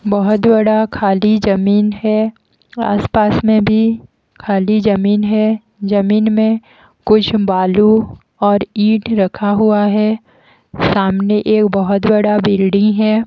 बहुत बड़ा खाली जमीन है आसपास में भी खाली जमीन है जमीन में कुछ बालू और ईंट रखा हुआ है सामने एक बहुत बड़ा बिल्डीं है।